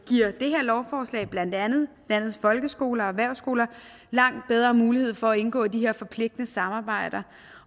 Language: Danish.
giver det her lovforslag blandt andet landets folkeskoler og erhvervsskoler langt bedre mulighed for at indgå i de her forpligtende samarbejder